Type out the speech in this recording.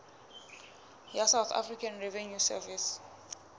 ya south african revenue service